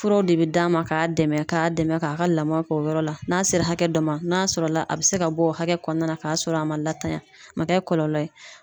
Furaw de be d'a ma ka dɛmɛ ka dɛmɛ ka ka lama k'o yɔrɔ la, n'a sera hakɛ dɔ ma n'a sɔrɔ la a bɛ se ka bɔ o hakɛ kɔnɔna na ka sɔrɔ a ma latanya a ma kɛ kɔlɔlɔ ye.